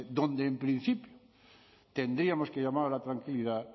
donde en principio tendríamos que llamar a la tranquilidad